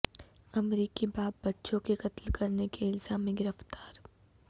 امریکی باپ بچوں کے قتل کرنے کے الزام میں گرفتار